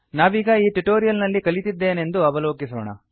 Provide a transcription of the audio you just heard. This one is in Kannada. ನಾವೀಗ ಈ ಟ್ಯುಟೋರಿಯಲ್ ನಲ್ಲಿ ಕಲಿತಿದ್ದೇನೆಂದು ಅವಲೋಕಿಸೋಣ